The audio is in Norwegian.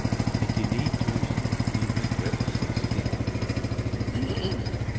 nittini tusen ni hundre og seksti